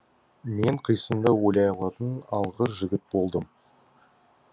мен қисынды ойлай алатын алғыр жігіт болдым